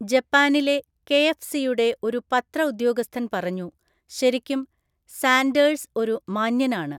ജപ്പാനിലെ കെഎഫ്‌സിയുടെ ഒരു പത്ര ഉദ്യോഗസ്ഥന്‍ പറഞ്ഞു, ശരിക്കും, സാൻഡേഴ്‌സ് ഒരു 'മാന്യനാണ്'.